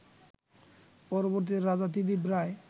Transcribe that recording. পরবর্তীতে রাজা ত্রিদিব রায়